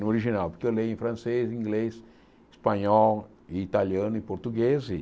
No original, porque eu leio em francês, inglês, espanhol, italiano e português. E